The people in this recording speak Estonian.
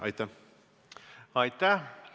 Aitäh!